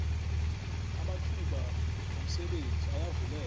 amathuba homsebenzi ayavuleka